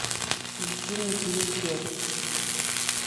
включи мне фильм убежище